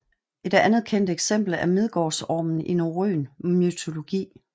Et andet kendt eksempel er Midgårdsormen i norrøn mytologi